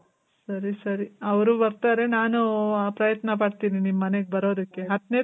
ಸರಿ ಸರಿ. ಅವ್ರು ಬರ್ತಾರೆ ನಾನು ಪ್ರಯತ್ನ ಪಡ್ತೀನಿ ನಿಮ್ ಮನೆಗ್ ಬರೋದಕ್ಕೆ. ಹತ್ನೆ